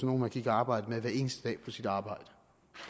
nogle man gik og arbejdede med hver eneste dag på sit arbejde